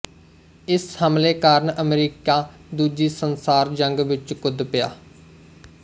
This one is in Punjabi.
ਇਸ ਹਮਲੇ ਕਾਰਨ ਅਮਰੀਕਾ ਦੂਜੀ ਸੰਸਾਰ ਜੰਗ ਵਿੱਚ ਕੁੱਦ ਪਿਆ